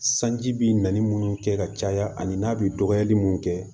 Sanji bi naani munnu kɛ ka caya ani n'a bi dɔgɔyali mun kɛ